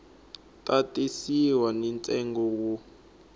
ta tisiwa ni ntsengo wo